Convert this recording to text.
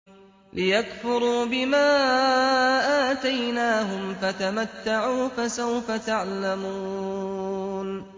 لِيَكْفُرُوا بِمَا آتَيْنَاهُمْ ۚ فَتَمَتَّعُوا ۖ فَسَوْفَ تَعْلَمُونَ